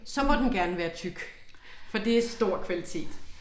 Så må den gerne være tyk for det stor kvalitet